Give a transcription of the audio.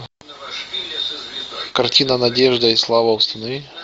картина надежда и слава установи